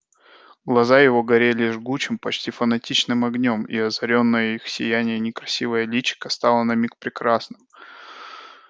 глаза её горели жгучим почти фанатичным огнём и озарённое их сиянием некрасивое личико стало на миг прекрасным